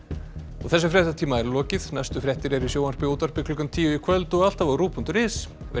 þessum fréttatíma er lokið næstu fréttir eru í sjónvarpi og útvarpi klukkan tíu í kvöld og alltaf á ruv punktur is verið